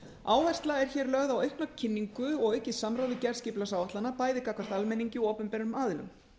áhersla er hér lögð á aukna kynningu og aukið samráð við gerð skipulagsáætlana bæði gagnvart almenningi og opinberum aðilum